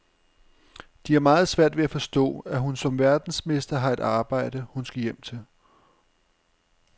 De har meget svært ved at forstå, at hun som verdensmester har et arbejde, hun skal hjem til.